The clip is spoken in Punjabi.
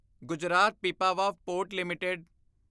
Gujarat Pipavav port LTD